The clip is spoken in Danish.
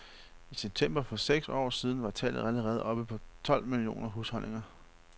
I september for seks år siden var tallet allerede oppe på tolv millioner husholdninger.